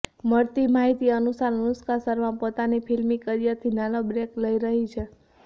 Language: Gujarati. મળતી માહિતી અનુસાર અનુષ્કા શર્મા પોતાની ફિલ્મી કરિયરથી નાનો બ્રેક લઇ રહી છે